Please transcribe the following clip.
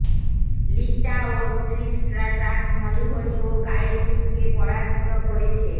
লিটা ও Trish Stratus Molly Holly ও Gail কিমকে পরাজিত করেছে